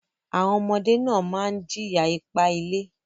Àwọn ọmọdé náà máa ń jìyà ipá-ilé.